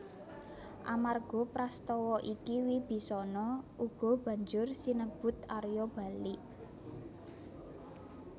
Amarga Prastawa iki Wibisana uga banjur sinebut Arya Balik